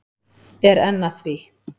Er enn að því.